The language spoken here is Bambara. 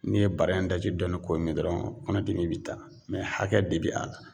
N'i ye bara in daji dɔɔni k'o min dɔrɔn kɔnɔ dimi bɛ taa mɛ hakɛ de bi a la .